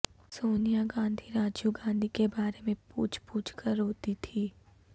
سونیا گاندھی راجیو گاندھی کے بارے میں پوچھ پوچھ کر روتی تھیں